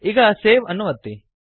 ಈಗ ಸೇವ್ ಅನ್ನು ಒತ್ತಿ